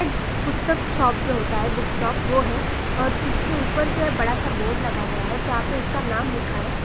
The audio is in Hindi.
पुस्तक शॉप जो होता है बुक्स शॉप वह है और जिसके ऊपर जो है बड़ा सा बोर्ड लगा गया और जहां पर उसका नाम लिखा है।